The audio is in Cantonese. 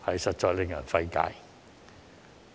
實在令人費解。